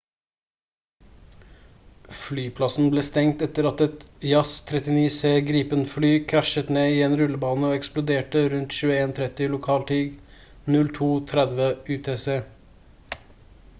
flyplassen ble stengt etter at et jas 39c gripen-fly krasjet ned i en rullebane og eksploderte rundt 21:30 lokal tid 02:30 utc